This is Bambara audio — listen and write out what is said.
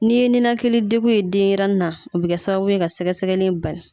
N'i ye ninakilidegun ye denɲɛrɛnin na o bɛ kɛ sababu ye ka sɛgɛsɛgɛli in bali